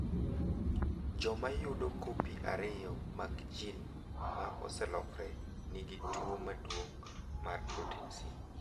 Joma yudo kopi ariyo mag jin ma oselokre, nigi tuwo maduong’ mar protin C.